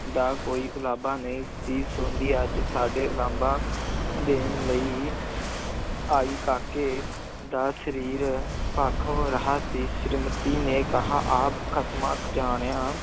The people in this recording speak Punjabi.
ਦਾ ਕੋਈ ਉਲਾਂਭਾ ਨਹੀਂ ਸੀ ਸੁਣਦੀ, ਅੱਜ ਸਾਡੇ ਉਲਾਂਭਾ ਦੇਣ ਲਈ ਆਈ, ਕਾਕੇ ਦਾ ਸਰੀਰ ਭਖ ਰਿਹਾ ਸੀ, ਸ੍ਰੀਮਤੀ ਨੇ ਕਿਹਾ ਆ ਖਸਮਾਂ ਜਾਣਿਆ